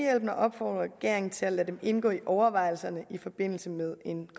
og opfordrer regeringen til at lade dem indgå i overvejelserne i forbindelse med en